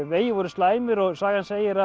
vegir voru slæmir og sagan segir